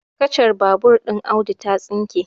kacar babur ɗin Audu ta tsinke